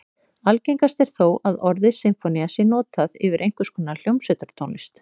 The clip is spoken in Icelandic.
Algengast er þó að orðið sinfónía sé notað yfir einhvers konar hljómsveitartónlist.